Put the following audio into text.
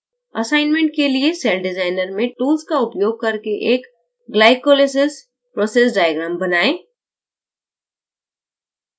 assignment के लिए cell designer में tools का उपयोग करके एक glycolysis process diagram बनाएँ